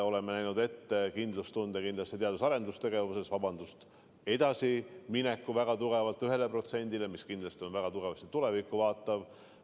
Oleme näinud ette kindlustunde teadus- ja arendustegevuses, jõudmise 1%-ni, mis kindlasti on väga tugevasti tulevikku vaatav.